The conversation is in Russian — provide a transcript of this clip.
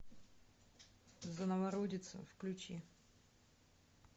заново родиться включи